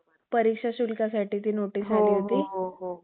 परीक्षा शुल्कासाठी ती नोटीस आली होती